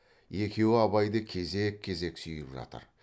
екеуі абайды кезек кезек сүйіп жатыр